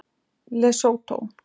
Lesótó